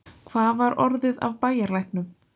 Hvað var orðið af bæjarlæknum?